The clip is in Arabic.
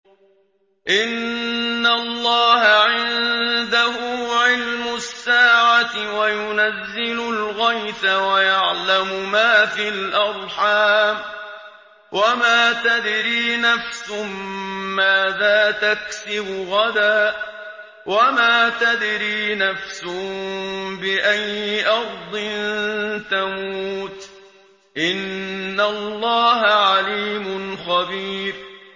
إِنَّ اللَّهَ عِندَهُ عِلْمُ السَّاعَةِ وَيُنَزِّلُ الْغَيْثَ وَيَعْلَمُ مَا فِي الْأَرْحَامِ ۖ وَمَا تَدْرِي نَفْسٌ مَّاذَا تَكْسِبُ غَدًا ۖ وَمَا تَدْرِي نَفْسٌ بِأَيِّ أَرْضٍ تَمُوتُ ۚ إِنَّ اللَّهَ عَلِيمٌ خَبِيرٌ